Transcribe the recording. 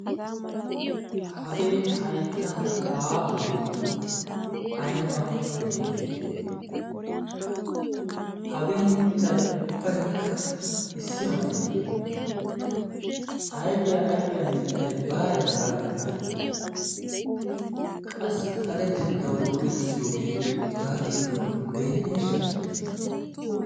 hagee haittaara aahoi ayba mittee hagee mittay ubbaikka issi maleeyye ayfiyaa ayfiyaa mittay baaye hagaa giddon qassi xaletettawu go'ettiyoogee hagaa giddon deenneesha?